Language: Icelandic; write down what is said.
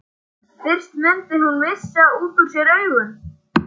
Fyrst mundi hún missa út úr sér augun.